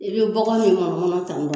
I bɛ bɔgo ni mɔnɔmɔnɔ tan tɔn